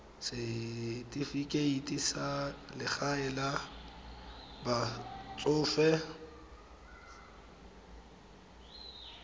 setifikeite sa legae la batsofe